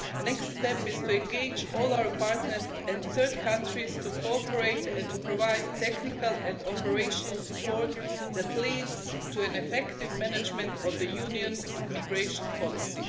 The next step is to engage all our partners and third countries to cooperate and to provide the technical and operational support that leads to effective management of the Union's migration policy.